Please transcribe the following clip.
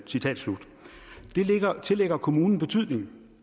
tillægger kommunen betydning